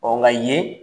Ɔ nka yen